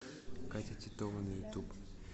катя титова на ютуб